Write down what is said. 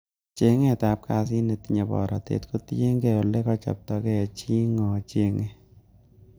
Cheng'etab kasit netinye borotet kotiienge ele kochobto gee chii ng'o chenge.